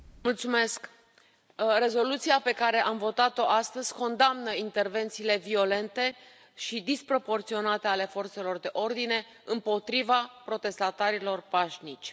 Domnule președinte, rezoluția pe care am votat o astăzi condamnă intervențiile violente și disproporționate ale forțelor de ordine împotriva protestatarilor pașnici.